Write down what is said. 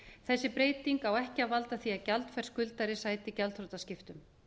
þessi breyting á ekki að valda því að gjaldfær skuldari sæti gjaldþrotaskiptum